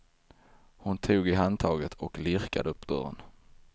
Hon tog i handtaget och lirkade upp dörren.